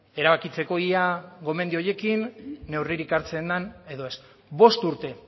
erabakitzeko ia gomendio horiekin neurririk hartzen den edo ez bost urte